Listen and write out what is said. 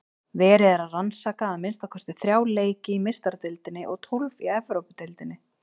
Verið er að rannsaka að minnsta kosti þrjá leiki í Meistaradeildinni og tólf í Evrópudeildinni.